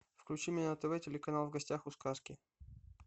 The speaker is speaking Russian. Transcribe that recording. включи мне на тв телеканал в гостях у сказки